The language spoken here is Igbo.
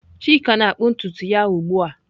Chika na-akpụ ntutu ya ugbu a.